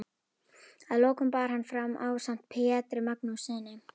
Að lokum bar hann fram ásamt Pjetri Magnússyni